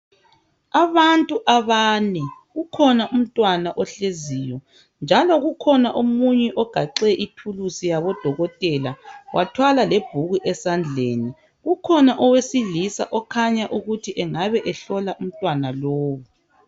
Abantu abane kukhona umntwana ohleziyo njalo kukhona omunye ogaqe ithulusi yabodokotela bathwala lebhuku esandleni kukhona owesilisa okhanya okuthi engabe ehlola umntwana lowu